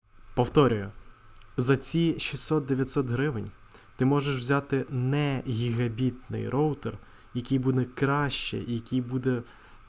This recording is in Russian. повторяю зо